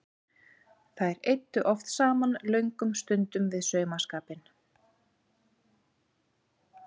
Þær eyddu oft saman löngum stundum við saumaskapinn.